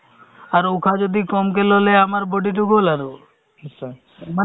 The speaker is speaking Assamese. আশাসকলৰ পৰা ANM ৰ পৰা ধৰি আশা supervisor ক ধৰি চবকে লগাই দিছে